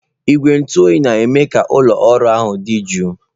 Igwe ntụ oyi na-eme ka ụlọ ọrụ ahụ dị jụụ.